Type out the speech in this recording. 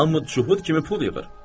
Hamı cühüd kimi pul yığır.